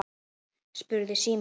spurði Símon.